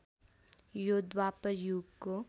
यो द्वापर युगको